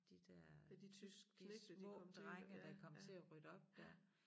De der tyske små drenge der kom til at rydde op dér